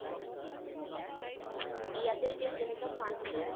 ইয়াতে এতিয়া যেনেকে